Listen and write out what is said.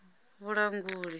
vhulanguli